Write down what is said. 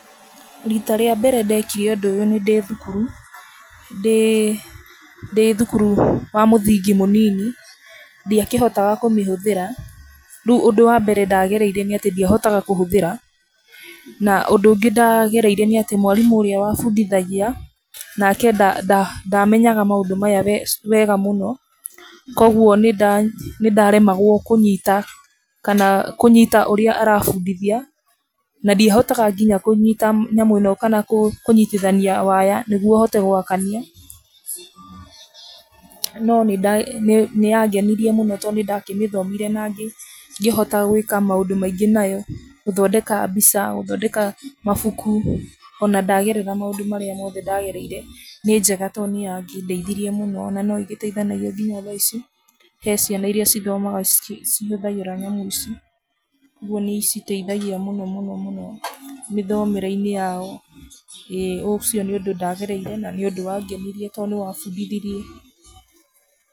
Rita rĩa mbere ndekire ũndũ ũyũ nĩ ndĩ thukuru, ndĩ thukuru wa mũthingi mũnini, ndiakĩhota kũmĩhũthĩra rĩu ũndũ wa mbere ndagereire nĩ atĩ ndiahotaga kũhũthĩra na ũndũ ũngĩ ndagereire nĩ atĩ ndĩ mwarimũ ũrĩa wa bundithagia nake ndamenyaga maũndũ wega mũno, kwoguo nĩ ndaremwagwo kũnyita kana kũnyita ũrĩa arabundithia na ndiahotaga nginya kũnyita nyamũ ĩno kana kũnyitithania waya nĩguo hote gwakania, no nĩya ngenirie mũno tondũ nĩ ndakĩmĩthomire nangĩ kĩhota gwĩka maũndũ mangĩ nayo, gũthondeka mbica, gũthondeka mabuku, ona ndagerera maũndũ marĩa mothe ndagereire nĩ njega tondũ nĩ ya kĩndeithirie mũno na no ĩgĩteithanagia nginya thaa ici, he ciana iria cithomaga ci hũthagĩra nyamũ ici, nĩ citeithagia mũno mĩthomere-inĩ yao, ĩĩ ũcio nĩ ũndũ ndagereire na nĩ ũndũ wa ngenirie tondũ nĩ wa bundithirie.